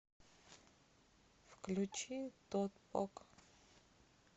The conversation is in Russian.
включи тотпок